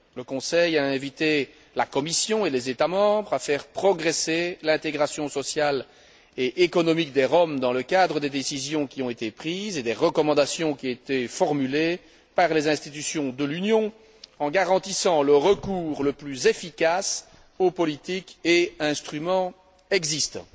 Le Conseil a invité la Commission et les États membres à faire progresser l'intégration sociale et économique des Roms dans le cadre des décisions qui ont été prises et des recommandations qui ont été formulées par les institutions de l'Union, en garantissant le recours le plus efficace aux politiques et instruments existants.